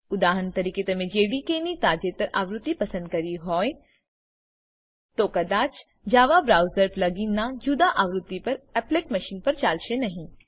ઉદાહરણ તરીકે તમે જેડીકે ની તાજેતરની આવૃત્તિ પસંદ કરી હોય તો કદાચJava બ્રાઉઝર પ્લગઇન ના જુદા આવૃત્તિ પર એપ્લેટ મશીન પર ચાલશે નહી